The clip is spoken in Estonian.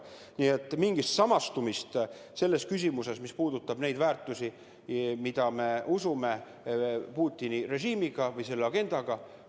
Nii et mingit samastumist küsimuses, mis puudutab neid väärtusi, millesse me usume, Putini režiimi või sellele agendaga ei ole.